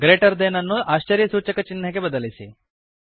greater than ಅನ್ನು ಆಶ್ಚರ್ಯ ಸೂಚಕ ಚಿಹ್ನೆಗೆ ಬದಲಿಸಿ